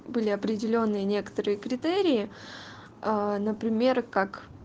были определённые некоторые критерии например как